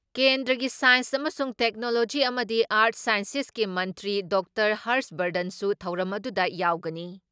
ꯀꯦꯟꯗ꯭꯭ꯔꯒꯤ science ꯑꯃꯁꯨꯡ technology ꯑꯃꯗꯤ art ꯁꯥꯟꯁꯦꯁꯀꯤ ꯃꯟꯇ꯭ꯔꯤ ꯗꯥ ꯍꯔꯁ ꯕꯔꯙꯟꯁꯨ ꯊꯧꯔꯝ ꯑꯗꯨꯗ ꯌꯥꯎꯒꯅꯤ ꯫